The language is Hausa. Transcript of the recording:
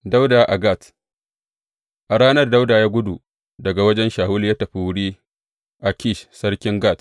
Dawuda a Gat A ranar, Dawuda ya gudu daga wajen Shawulu ya tafi wuri Akish sarkin Gat.